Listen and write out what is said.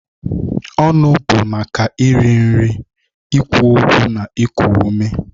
Ọnụ bụ maka iri nri, ikwu okwu na iku ume.